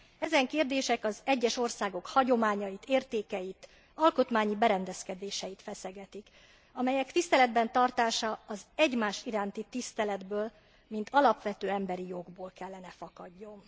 Ezen kérdések az egyes országok hagyományait, értékeit, alkotmányos berendezkedéseit feszegetik, amelyek tiszteletben tartása az egymás iránti tiszteletből, mint alapvető emberi jogból kellene fakadjon.